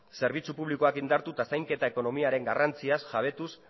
zerbitzu publikoak indartu eta zainketa ekonomiaren garrantziaz jabetuz